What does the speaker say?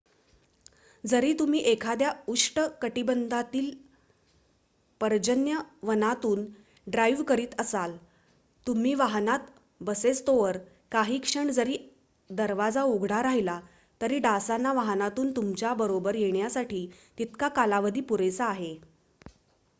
जरी तुम्ही एखाद्या उष्ट कटिबंधातील पर्जन्य वनातून ड्राईव्ह करीत असाल तुम्ही वाहनात बसेस्तोवर काही क्षण जरी दरवाजा उघडा राहिला तरी डासांना वाहनातून तुमच्या बरोबर येण्यासाठी तितका कालावधी पुरेसा आहे